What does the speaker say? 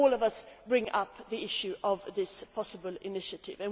and all of us bring up the issue of this possible initiative.